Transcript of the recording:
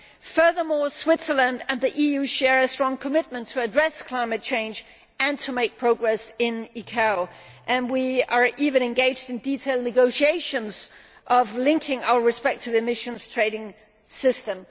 Furthermore, Switzerland and the EU share a strong commitment to addressing climate change and to making progress in the ICAO, and we are even engaged in detailed negotiations on linking our respective emissions trading systems.